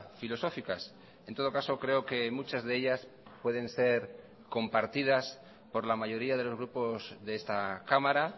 filosóficas en todo caso creo que muchas de ellas pueden ser compartidas por la mayoría de los grupos de esta cámara